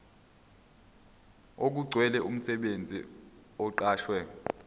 okugcwele umsebenzi oqashwe